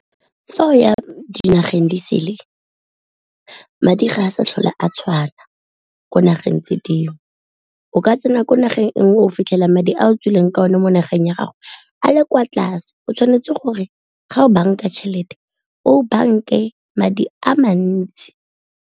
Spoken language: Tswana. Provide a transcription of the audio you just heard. Fa o ya dinageng di sele madi ga a sa tlhole a tshwana ko nageng tse dingwe, o ka tsena ko nageng e nngwe o fitlhela madi a o tswileng ka one mo nageng ya gago a le kwa tlase o tshwanetse gore ga o banka tšhelete o banke madi a mantsi.